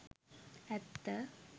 ඇත්ත